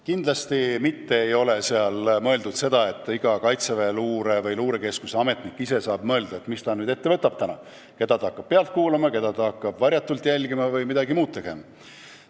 Kindlasti mitte ei ole mõeldud seda, et iga Kaitseväe Luurekeskuse ametnik ise saab otsustada, mis ta täna ette võtab: keda hakkab pealt kuulama, keda hakkab varjatult jälgima või midagi muud sellist tegema.